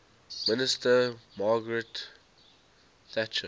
minister margaret thatcher